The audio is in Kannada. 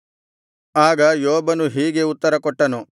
ಆಗ ಯೋಬನು ಹೀಗೆ ಉತ್ತರಕೊಟ್ಟನು